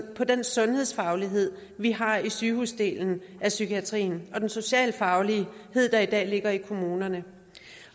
på den sundhedsfaglighed vi har i sygehusdelen af psykiatrien og den socialfaglighed der i dag ligger i kommunerne